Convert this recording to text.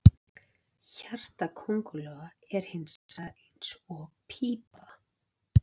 Hjarta köngulóa er hins vegar eins og pípa.